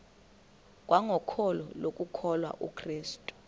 kwangokholo lokukholwa kukrestu